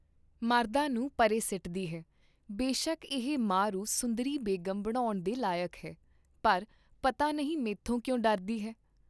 ਮਰਦਾਂ ਨੂੰ ਪਰੇ ਸਿੱਟਦੀ ਹੈਂ, ਬੇਸ਼ਕ ਇਹ ਮਾਹ ਰੂ ਸੁੰਦਰੀ ਬੇਗਮ ਬਨਾਉਣ ਦੇ ਲਾਇਕ ਹੈ, ਪਰ ਪਤਾ ਨਹੀਂ ਮੈਥੋਂ ਕਿਉਂ ਡਰਦੀ ਹੈ?